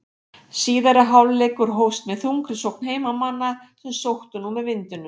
Síðari hálfleikur hófst með þungri sókn heimamanna sem sóttu nú með vindinum.